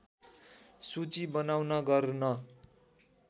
सूची बनाउन गर्न